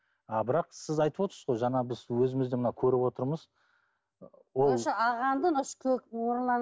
а бірақ сіз айтып отырсыз ғой жаңа біз өзіміз де мына көріп отырмыз ол